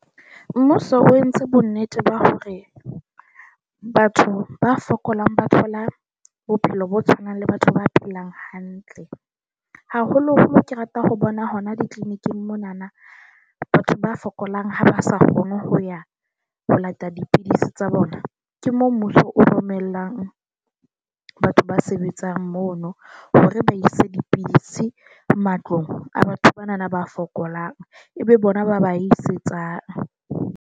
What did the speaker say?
Mmuso o entse bonnete ba hore batho ba fokolang ba thola bophelo bo tshwanang le batho ba phelang hantle, haholo. Moo ke rata ho bona hona di-clinic-ng mona, batho ba fokolang ha ba sa kgone ho ya ho lata dipidisi tsa bona, ke moo mmuso o romellang batho ba sebetsang mono hore ba ise dipidisi matlong a batho banana ba fokolang, ebe bona ba ba isetsang.